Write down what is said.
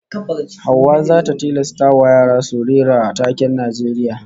Hauwa zata tilastawa yaran su rera taken Najeriya